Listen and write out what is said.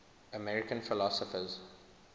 american philosophers